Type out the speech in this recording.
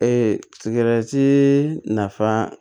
sigɛrɛti nafa